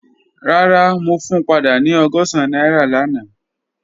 Rara, mo fun pada ni ọgọ́sán naira lana.